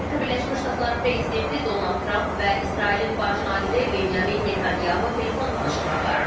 Amerika Birləşmiş Ştatları prezidenti Donald Trump və İsrailin baş naziri Benyamin Netanyahu telefon danışığı aparır.